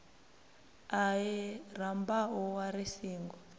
ahee rambau wa ri singo